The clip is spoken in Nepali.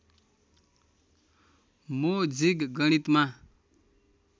मो जिग गणितमा